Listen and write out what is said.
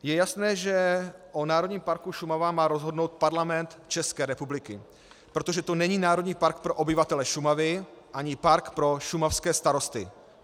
Je jasné, že o Národním parku Šumava má rozhodnout Parlament České republiky, protože to není národní park pro obyvatele Šumavy ani park pro šumavské starosty.